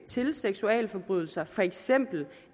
til seksualforbrydelser for eksempel